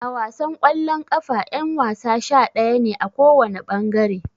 A wasan kwallon kafa yan-wasa sha-daya ne, a kowana bangare.